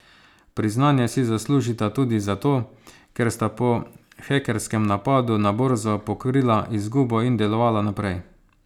Priznanje si zaslužita tudi zato, ker sta po hekerskem napadu na borzo pokrila izgubo in delovala naprej.